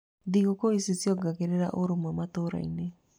Thigũkũ ici ciongereraga ũrũmwe matũũra-inĩ.